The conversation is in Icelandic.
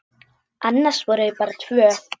Annars voru þau bara tvö.